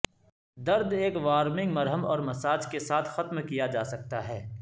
درد ایک وارمنگ مرہم اور مساج کے ساتھ ختم کیا جا سکتا ہے